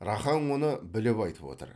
рақаң оны біліп айтып отыр